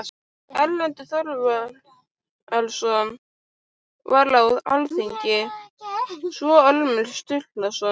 Erlendur Þorvarðarson var á alþingi, svo og Ormur Sturluson.